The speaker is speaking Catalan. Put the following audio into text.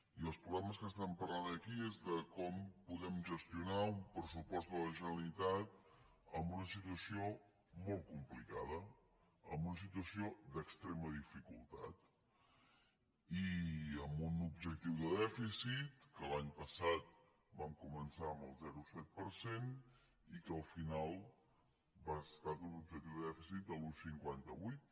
i els problemes dels quals estem parlant aquí són com podem gestionar un pressupost de la generalitat en una situació molt complicada en una situació d’extrema dificultat i amb un objectiu de dèficit que l’any passat vam començar amb el zero coma set per cent i que al final ha estat un objectiu de dèficit de l’un coma cinquanta vuit